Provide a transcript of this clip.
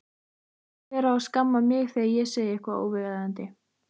Hver á að skamma mig þegar ég segi eitthvað óviðeigandi?